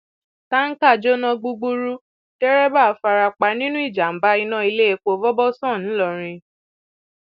tanka jóná gbúgbúrú dẹrẹbà fara pa nínú ìjàmbá iná iléepo vọbọsàn ńlọrọrìn